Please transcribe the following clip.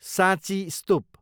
साँची स्तुप